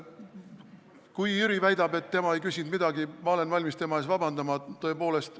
Kui Jüri väidab, et tema ei küsinud midagi, siis ma olen valmis tema ees vabandama, tõepoolest.